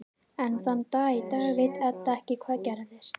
Enn þann dag í dag veit Edda ekki hvað gerðist.